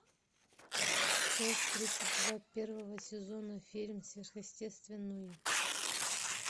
часть тридцать два первого сезона фильм сверхъестественное